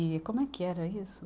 E como é que era isso?